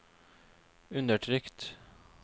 undertrykt